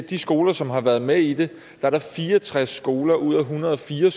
de skoler som har været med i det er der fire og tres skoler ud af en hundrede og fire